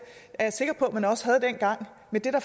er sikker på man også havde dengang men det